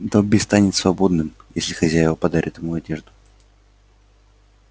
добби станет свободным если хозяева подарят ему одежду